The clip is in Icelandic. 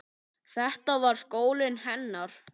Þetta var skólinn hennar.